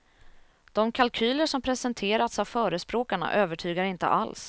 De kalkyler som presenterats av förespråkarna övertygar inte alls.